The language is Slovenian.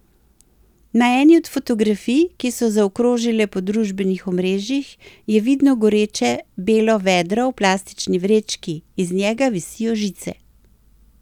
Na eni od fotografij, ki so zaokrožile po družbenih omrežjih, je vidno goreče belo vedro v plastični vrečki, iz njega visijo žice.